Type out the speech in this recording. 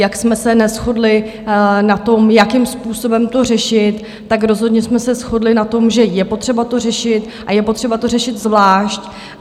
Jak jsme se neshodli na tom, jakým způsobem to řešit, tak rozhodně jsme se shodli na tom, že je potřeba to řešit a je potřeba to řešit zvlášť.